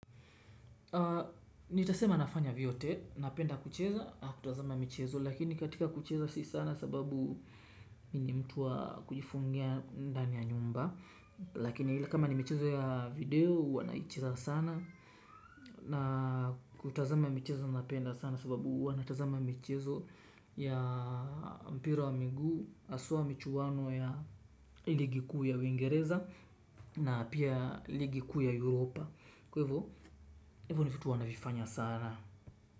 Nita sema nafanya vyote, napenda kucheza, au kutazama michezo. Lakini katika kucheza si sana sababu mini mtu wa kujifungia ndani ya nyumba. Lakini hila kama ni michezo ya video, huwa naichiza sana na kutazama michezo huwa napenda sana sabau huwa na tazama michezo ya mpira wa miguu hasa michuwano ya ligi kuu ya uingereza na pia ligiku ya Europa. Kwa ivo, evo ni vitu huwa na vifanya sana.